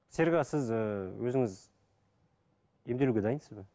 серік аға сіз ііі өзіңіз емделуге дайынсыз ба